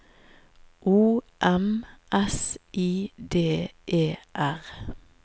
O M S I D E R